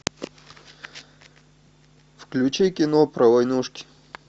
включи кино про войнушки